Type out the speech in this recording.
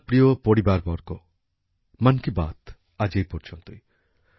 আমার প্রিয় পরিবারবর্গ মন কি বাত আজ এই পর্যন্তই